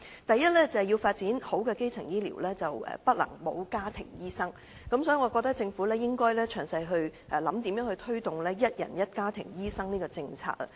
第一，要發展完善的基層醫療，不能沒有家庭醫生，所以，我認為政府應詳細思考如何推動"一人一家庭醫生"的政策。